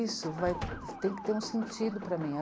Isso vai, tem que ter um sentido para mim.